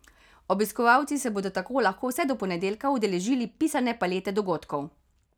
Obiskovalci se bodo tako lahko vse do ponedeljka udeležili pisane palete dogodkov.